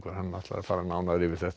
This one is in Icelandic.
fer nánar yfir þetta